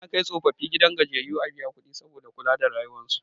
Ana kai tsofaffi gidan gajiyayyu a biya kudi saboda kula da rayuwan su